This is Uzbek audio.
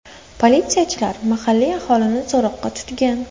Politsiyachilar mahalliy aholini so‘roqqa tutgan.